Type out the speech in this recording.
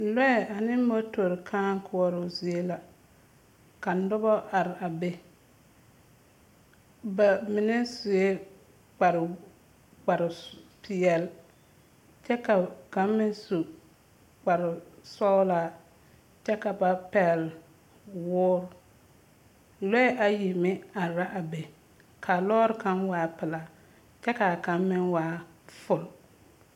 Lɔɛ ane motori kᾱᾱ koɔroo zie la, ka noba araa be. Bamine sue kpare, kparepeɛl, kyɛ ka kaŋ meŋ su kparesɔglaa, kyɛ ka ba pɛgele woore. Lɔɛ ayi meŋ araa be, ka a lɔɔre kaŋ waa pelaa, ka kaŋ meŋ waa fo…